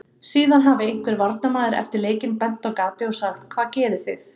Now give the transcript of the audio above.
Síðan hafi einhver varnarmaður eftir leikinn bent á gatið og sagt: Hvað gerið þið?